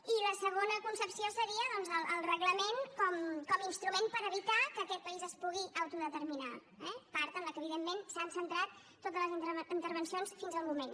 i la segona concepció seria doncs el reglament com a instrument per evitar que aquest país es pugui autodeterminar eh part en la que evidentment s’han centrat totes les intervencions fins al moment